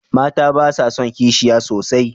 Mata ba sa son kishiya sosai